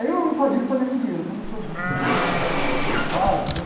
Aí eu não sabia o que fazer com o dinheiro, porque eu não sou muito de dinheiro, né? Ex-padre e tal